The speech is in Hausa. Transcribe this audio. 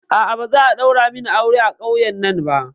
A'a, ba za'a ɗaura min aure a ƙauyen nan ba